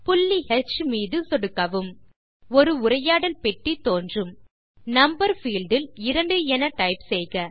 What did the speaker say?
புள்ளி ஹ் மீது சொடுக்கவும் ஒரு உரையாடல் பெட்டி தோன்றும் நம்பர் பீல்ட் இல் 2 என டைப் செய்க